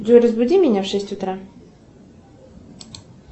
джой разбуди меня в шесть утра